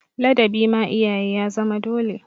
Ladabi ma iyaye ya zama dole.